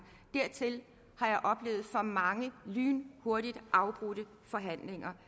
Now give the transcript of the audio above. og mange lynhurtigt afbrudte forhandlinger